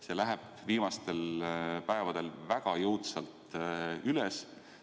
See läheb viimastel päevadel väga jõudsalt üles.